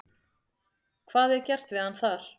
Hvað er gert við hann þar?